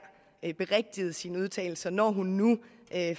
berigtigede sine udtalelser når hun nu